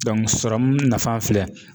serɔmu nafa filɛ